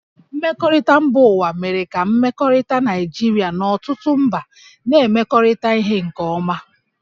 Mmekọrịta mba ụwa mere ka mmekọrịta Naịjirịa na ọtụtụ mba na-emekọrịta ihe nke ọma